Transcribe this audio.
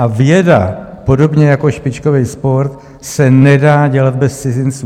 A věda podobně jako špičkový sport se nedá dělat bez cizinců.